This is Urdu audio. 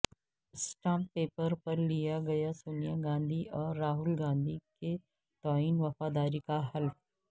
اسٹامپ پیپر پر لیا گیا سونیا گاندھی اور راہل گاندھی کے تئیں وفاداری کا حلف